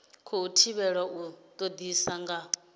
khou thivhelwa u todisisa nga